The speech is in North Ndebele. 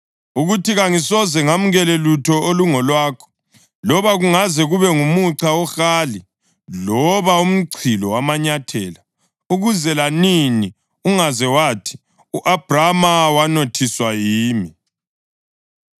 ukuthi kangisoze ngamukele lutho olungolwakho, loba kungaze kube ngumuca wohali loba umchilo wamanyathela, ukuze lanini ungaze wathi, ‘U-Abhrama wanothiswa yimi.’